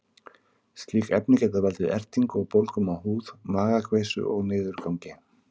Slík efni geta valdið ertingu og bólgum á húð, magakveisu og niðurgangi.